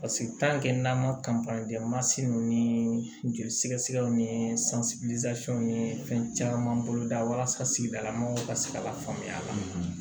n'an ma ni joli sɛgɛsɛgɛ ni ni fɛn caman boloda walasa ka se ka lafaamuya